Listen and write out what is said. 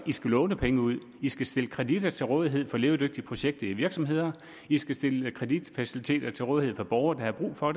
skal låne penge ud i skal stille kreditter til rådighed for levedygtige projekter i virksomheder i skal stille kreditfaciliteter til rådighed for borgere der har brug for